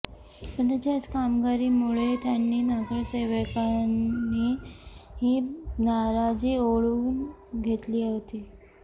पण त्यांची याच कामगिरीमुळे त्यांनी नगरसेवकांची नाराजी ओढवून घेतली होती